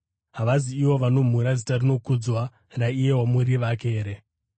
Havazi ivo vanomhura zita rinokudzwa raiye wamuri vake here?